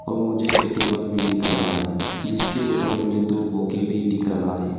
और मुझे एक टेबल भी दिख रहा है जिसके ऊपर मुझे दो बुके भी दिख रहा है।